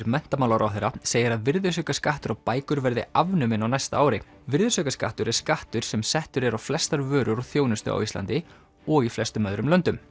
menntamálaráðherra segir að virðisaukaskattur á bækur verði afnuminn á næsta ári virðisaukaskattur er skattur sem settur er á flestar vörur og þjónustu á Íslandi og í flestum öðrum löndum